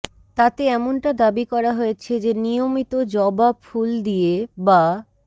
তাতে এমনটা দাবি করা হয়েছে যে নিয়মিত জবা ফুল দিয়ে বা